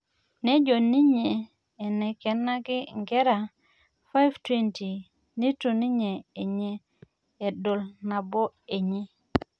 Nejo ninye eikenaki nkera 520 nitu ninye enye edol nabo enye